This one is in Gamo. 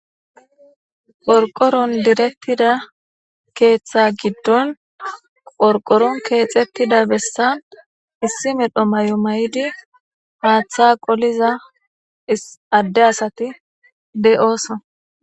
Gorqoron direttida keeththa giddon qorqoron keexettida bessa issi medho may'o may'di maatha qoliza adde asati de'ooso.